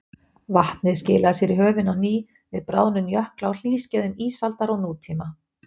Vatnið skilaði sér í höfin á ný við bráðnun jökla á hlýskeiðum ísaldar og nútíma.